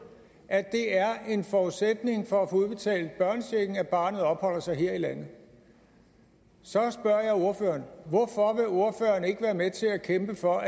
at det er en forudsætning for at få udbetalt børnechecken at barnet opholder sig her i landet så spørger jeg ordføreren ikke være med til at kæmpe for